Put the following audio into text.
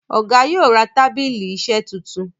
Ọgá yóò rà tábìlì iṣe títún.